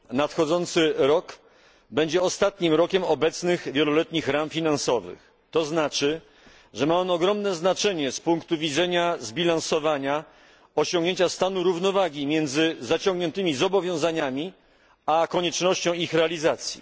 Nadchodzący rok będzie ostatnim rokiem obecnych wieloletnich ram finansowych, a to znaczy, że ma on ogromne znaczenie z punktu widzenia zbilansowania, osiągnięcia stanu równowagi między zaciągniętymi zobowiązaniami a koniecznością ich realizacji.